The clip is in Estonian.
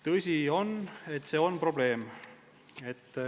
" Tõsi on, et see on probleem.